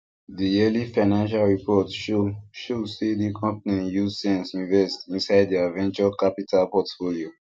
the yearly financial report show show say the company use sense invest inside their venture capital portfolio